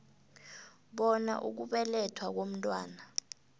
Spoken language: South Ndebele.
bona ukubelethwa komntwana